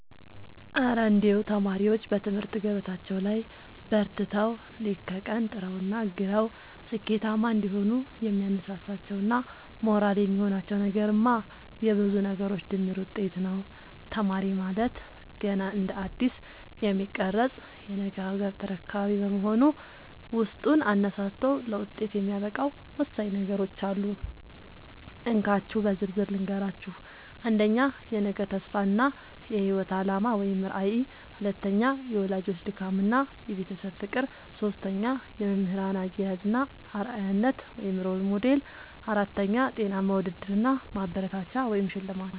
እረ እንደው ተማሪዎች በትምህርት ገበታቸው ላይ በርትተው፣ ሌት ከቀን ጥረውና ግረው ስኬታማ እንዲሆኑ የሚያነሳሳቸውና ሞራል የሚሆናቸው ነገርማ የብዙ ነገሮች ድምር ውጤት ነው! ተማሪ ማለት ገና እንደ አዲስ የሚቀረጽ የነገ ሀገር ተረካቢ በመሆኑ፣ ውስጡን አነሳስቶ ለውጤት የሚያበቃው ወሳኝ ነገሮች አሉ፤ እንካችሁ በዝርዝር ልንገራችሁ - 1. የነገ ተስፋ እና የህይወት አላማ (ራዕይ) 2. የወላጆች ድካምና የቤተሰብ ፍቅር 3. የመምህራን አያያዝ እና አርአያነት (Role Model) 4. ጤናማ ውድድር እና ማበረታቻ (ሽልማት)